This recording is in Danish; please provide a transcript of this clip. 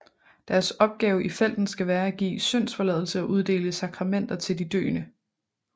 Deres opgave i felten skal være at give syndsforladelse og uddele sakramenter til de døende